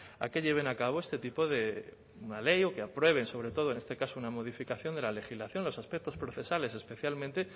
a que lleven a cabo este tipo de una ley o que aprueben sobre todo en este caso una modificación de la legislación los aspectos procesales especialmente